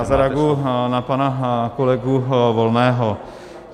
Já zareaguji na pana kolegu Volného.